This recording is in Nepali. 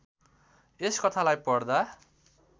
यस कथालाई पढ्दा